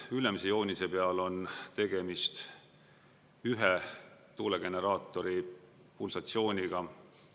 Ülemise joonise peal on tegemist ühe tuulegeneraatori pulsatsiooniga.